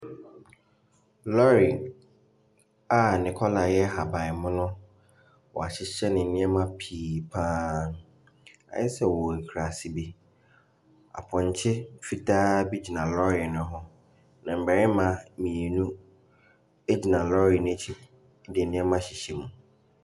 Lɔɔre a ne colour yɛ ahabanmono; wɔahyehyɛ nneɛma pii pa ara. Ayɛ sɛ ɔwɔ akurase bi. Apɔnkye fitaa bi wɔ lɔɔre no ho. Mmarima mmienu gyina lɔɔre no akyi de nneɛma rehyehyɛ mu.